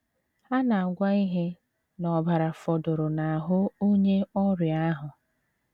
A na - agwa ihe n’ọbara fọdụrụ n’ahụ onye ọrịa ahụ.